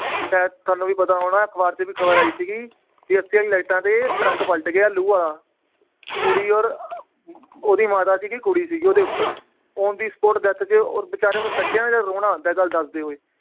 ਸ਼ਾਇਦ ਤੁਹਾਨੂੰ ਵੀ ਪਤਾ ਹੋਣਾ ਹੈ, ਅਖਬਾਰ ਚ ਵੀ ਖਬਰ ਆਈ ਸੀਗੀ ਵੀ ਲਾਈਟਾਂ ਤੇ ਟਰੱਕ ਪਲਟ ਗਿਆ ਲੂ ਵਾਲਾ ਕੁੜੀ ਔਰ ਓਹਦੀ ਮਾਤਾ ਸੀਗੀ ਕੁੜੀ ਸੀਗੀ ਓਹਦੇ ਉਪਰ on the spot death ਤੇ ਔਰ ਬੇਚਾਰਿਆਂ ਕੱਢਿਆ ਨਾ ਜਦ ਰੋਣਾ ਆਉਂਦਾ ਹੈ ਗੱਲ ਦੱਸਦੇ ਹੋਏ।